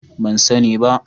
ban sani ba